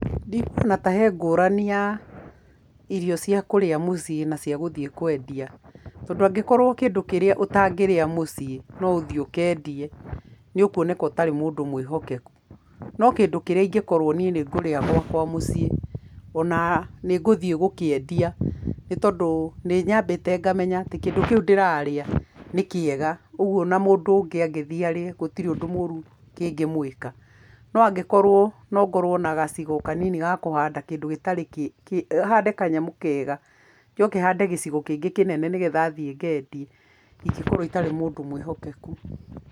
Ndikuona ta he ngũrani ya irio cia kũrĩa mũciĩ na cia gũthiĩ kwendia, tondũ angĩkorwo kĩndũ kĩrĩa ũtangĩrĩa mũciĩ, no ũthiĩ ũkendie, nĩ ũkuoneka ũtarĩ mũndũ mwĩhokeku. No kĩndũ kĩrĩa ingĩkorwo niĩ nĩ ngũrĩa gwakwa mũciĩ o na nĩ ngũthiĩ gũkĩendia, nĩ tondũ nĩ nyambĩte ngamenya atĩ kĩndũ kĩu ndĩrarĩa, nĩ kĩega, ũguo o na mũndũ ũngĩ angĩthiĩ arĩe, gũtirĩ ũndũ mũru kĩngĩmwĩka, no angĩkorwo no ngorwo na gacigo kanini ga kũhanda kĩndũ gĩtarĩ kĩ hande kanyamũ kega, njoke hande gĩcigo kĩngĩ kĩnene nĩgetha thiĩ ngendie, ingĩkorwo itarĩ mũndũ mwĩhokeku.